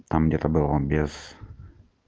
а мне там было без